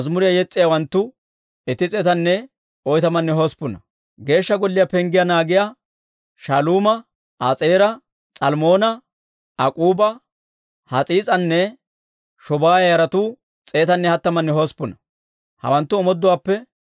Hawanttu omooduwaappe simmiide, Geeshsha Golliyaan ootsiyaa k'oomatuwaa yaratuwaa: S'iiha yaratuwaa, Hasuufa yaratuwaa, S'abba'oota yaratuwaa,